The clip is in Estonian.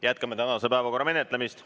Jätkame tänase päevakorra menetlemist.